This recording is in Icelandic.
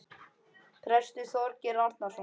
Prestur Þorgeir Arason.